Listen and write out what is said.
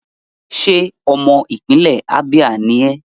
Ṣé ọmọ ìpínlẹ̀ Abia ni ẹ́?